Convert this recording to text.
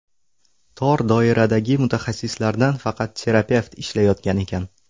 Tor doiradagi mutaxassislardan faqat terapevt ishlayotgan ekan.